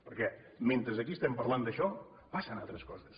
perquè mentre aquí parlem d’això passen altres coses